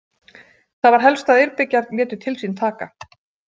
Það var helst að Eyrbyggjar létu til sín taka.